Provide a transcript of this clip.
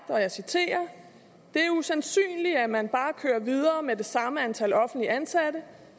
det er usandsynligt at man bare kører videre med det samme antal offentligt ansatte